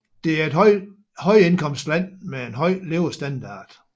Det er et højindkomstland med en høj levestandard